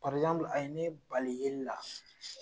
a ye ne bali yelila.